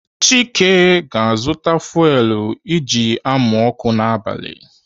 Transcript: Chike ga-azụta fuwelu eji amụ ọkụ n'abali.